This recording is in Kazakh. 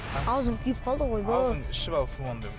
ауызым күйіп қалды ғой ойбой ішіп ал суыңды